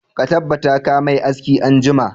Ka tabbata ka mai aski anjima!